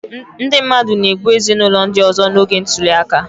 Ndị mmadụ na-egbu ezinụlọ ndị ọzọ n'oge ntuli aka